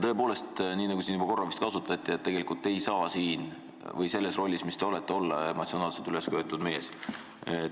Tõepoolest, nii nagu siin juba korra vist öeldi, tegelikult ei saa selles rollis, kus te praegu olete, olla emotsionaalselt ülesköetud mees.